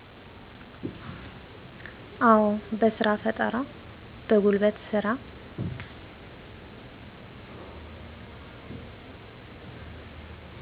አው በስራፈጠራ በጉልበት ስራ